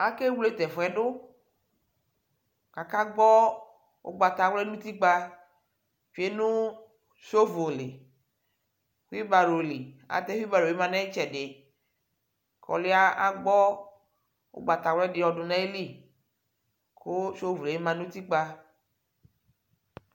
Akewle tʋ ɛfʋ yɛ dʋ kʋ akakpɔ ʋgbawla nʋ utikpǝ tsue nʋ sovo li kuibaro li Atɛ kuibaro bɩ ma nʋ ɩtsɛdɩ kʋ ɔlʋ yɛ agbɔ ʋgbatawla dɩ yɔdʋ nʋ ayili kʋ sovo yɛ ma nʋ utikpǝ